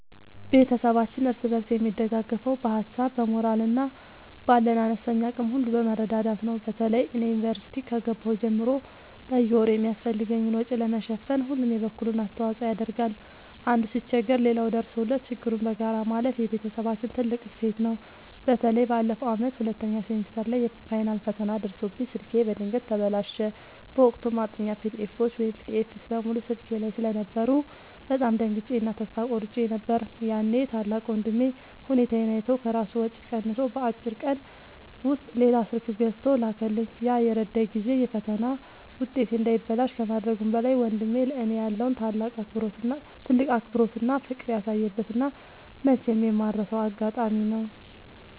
ቤተሰባችን እርስ በርስ የሚደጋገፈው በሀሳብ፣ በሞራል እና ባለን አነስተኛ አቅም ሁሉ በመረዳዳት ነው። በተለይ እኔ ዩኒቨርሲቲ ከገባሁ ጀምሮ በየወሩ የሚያስፈልገኝን ወጪ ለመሸፈን ሁሉም የበኩሉን አስተዋጽኦ ያደርጋል። አንዱ ሲቸገር ሌላው ደርሶለት ችግሩን በጋራ ማለፍ የቤተሰባችን ትልቅ እሴት ነው። በተለይ ባለፈው ዓመት ሁለተኛ ሴሚስተር ላይ የፋይናል ፈተና ደርሶብኝ ስልኬ በድንገት ተበላሸ። በወቅቱ ማጥኛ ፒዲኤፎች (PDFs) በሙሉ ስልኬ ላይ ስለነበሩ በጣም ደንግጬ እና ተስፋ ቆርጬ ነበር። ያኔ ታላቅ ወንድሜ ሁኔታዬን አይቶ ከራሱ ወጪ ቀንሶ በአጭር ቀን ውስጥ ሌላ ስልክ ገዝቶ ላከልኝ። ያ የረዳኝ ጊዜ የፈተና ውጤቴ እንዳይበላሽ ከማድረጉም በላይ፣ ወንድሜ ለእኔ ያለውን ትልቅ አክብሮትና ፍቅር ያሳየበት እና መቼም የማልረሳው አጋጣሚ ነው።